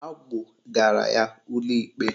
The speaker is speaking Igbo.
Agbụgara ya ụlọikpe